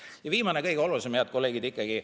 Ja viimane, kõige olulisem, head kolleegid, ikkagi.